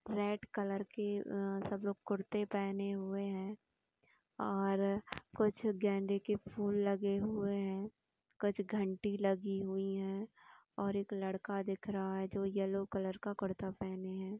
Red colour के सब लोग कुर्ते पहने हुए है और कुछ गेंदे के फूले लगे हुए है और कुछ घंटी लगी हुई है और एक लड़का दिख रहा है जो येल्लो कलर का कुर्ता पहने हैं ।